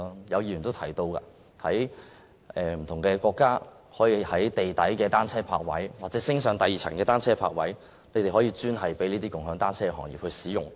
有議員亦提到，有些國家提供地下單車泊位或雙層單車泊位，專供"共享單車"行業使用。